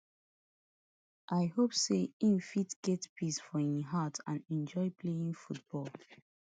i hope say e fit get peace for im heart and enjoy playing football